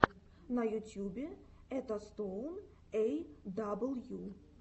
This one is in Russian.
на ютьюбе этостоун эй дабл ю